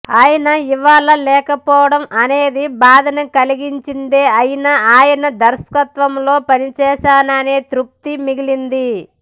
ఆయన ఇవాళ లేకపోవడం అనేది బాధను కలిగించేదే అయినా ఆయన దర్శకత్వంలో పనిచేశాననే తృప్తి మిగిలింది